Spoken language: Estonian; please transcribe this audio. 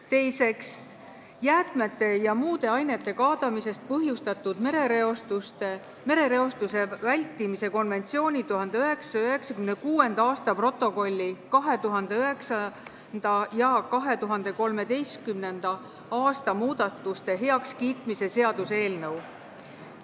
Teiseks, jäätmete ja muude ainete kaadamisest põhjustatud merereostuse vältimise konventsiooni 1996. aasta protokolli 2009. ja 2013. aasta muudatuste heakskiitmise seaduse eelnõu.